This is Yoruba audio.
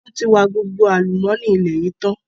Wọn tí wa gbogbo àlùmọ́nì ilẹ̀ yìí tán.